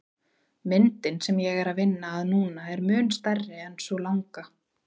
Myndin sem ég er að vinna að núna er mun stærri en sú langa.